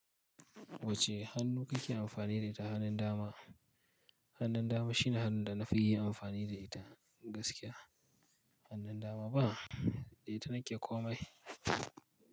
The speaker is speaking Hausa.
Wacce hannu kake amfani da ita hanun dama? Hannun dama shine hannun da na fi yi amfani da ita, gaskiya. Hannun dama ba, da ita nake komai.